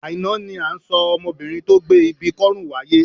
Àìná ni à ń sọ ọmọbinrin tó gbé ibi kọ́rùn wáyé.